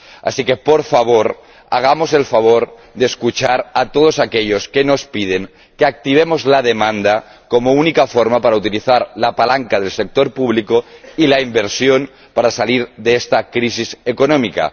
Así que, por favor, escuchemos a todos aquellos que nos piden que activemos la demanda como única forma para utilizar la palanca del sector público y la inversión para salir de esta crisis económica.